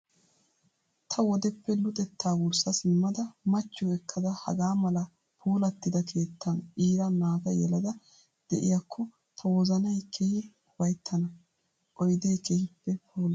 Ta wodeppe luxetta wurssa simmada machchiyoo ekkada hagaa mala puulattida keettan iira naata yelada de'iyakko tawozanayi keehippe ufayittana. Oyidee keehippe puula.